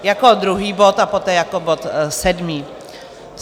Jako druhý bod a poté jako bod sedmý.